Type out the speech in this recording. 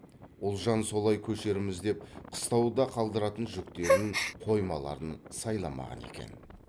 ұлжан солай көшерміз деп қыстауда қалдыратын жүктерін қоймаларын сайламаған екен